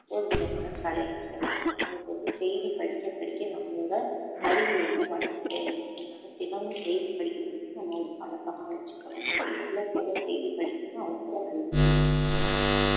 ஒரு விதமான கலைன்னு சொல்லலாம் நமக்கு வந்து செய்தி படிக்க படிக்க நம்மளோட அறிவு வந்து வளர்ந்துகிட்டே இருக்கும் அதனால தினமும் செய்தி படிக்கிறது வந்து நம்ம ஒரு பழக்கமா வச்சுக்கணும் நம்ம எவ்வளவுக்கு எவ்வளவு செய்தி படிக்கிறோமோ அவ்வளவுக்கு அவ்ளோ நல்லது